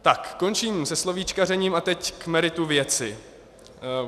Tak, končím se slovíčkařením a teď k meritu věci.